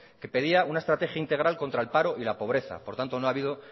que pedía una estrategia integral contra el paro y la pobreza por tanto no ha habido